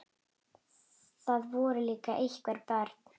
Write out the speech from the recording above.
Það voru líka einhver börn.